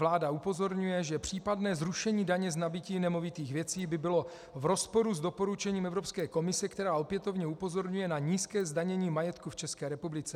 Vláda upozorňuje, že případné zrušení daně z nabytí nemovitých věcí by bylo v rozporu s doporučením Evropské komise, která opětovně upozorňuje na nízké zdanění majetku v České republice.